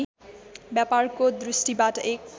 व्यापारको दृष्टिबाट एक